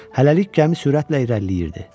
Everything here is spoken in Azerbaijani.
Hələlik gəmi sürətlə irəliləyirdi.